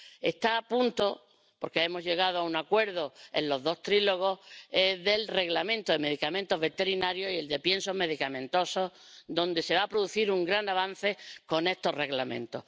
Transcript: Están a punto, porque hemos llegado a un acuerdo en los dos diálogos a tres bandas, el Reglamento de medicamentos veterinarios y el de piensos medicamentosos, y se va a producir un gran avance con estos Reglamentos.